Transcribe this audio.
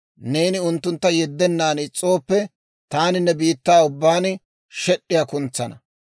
Neeni unttuntta yeddennan is's'ooppe, taani ne biittaa ubbaan shed'd'iyaa kuntsana.